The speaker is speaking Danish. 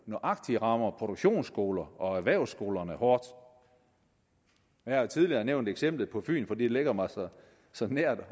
nøjagtig rammer produktionsskolerne og erhvervsskolerne hårdt jeg har tidligere nævnt eksemplet på fyn fordi det ligger mig så nært